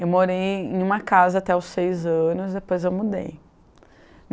Eu morei em uma casa até os seis anos, depois eu mudei.